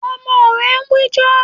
Ọmọ rẹ ń wíjọ́.